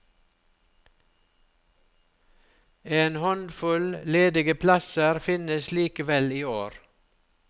En håndfull ledige plasser finnes likevel i år.